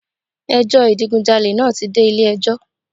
Ẹ jọ́ ìdigunjalè naa ti de Ilé ẹjọ́